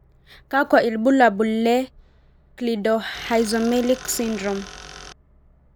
kakwa ibulabul ie Cleidorhizomelic syndrome.